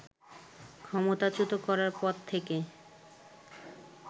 ক্ষমতাচ্যূত করার পর থেকে